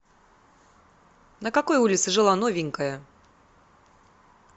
на какой улице жила новенькая